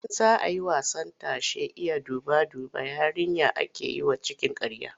Idan za a yi wasan tashen Iya duba-duba, yarinya ake yi wa cikin ƙarya.